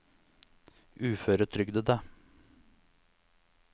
uføretrygdede